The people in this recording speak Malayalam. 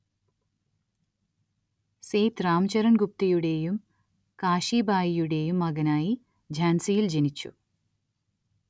സേത് രാംചരൺ ഗുപ്തയുടേയും കാശീബായിയുടേയും മകനായി ഝാൻസിയിൽ ജനിച്ചു.